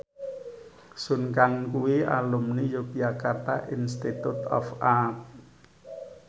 Sun Kang kuwi alumni Yogyakarta Institute of Art